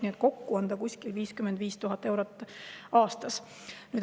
Nii et kokku on see kuskil 55 000 eurot aastas.